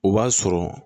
O b'a sɔrɔ